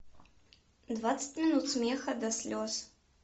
двадцать минут смеха до слез